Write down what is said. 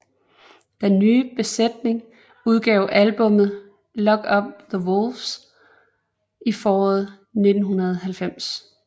Denne nye besætning udgav albummet Lock up the Wolves i foråret 1990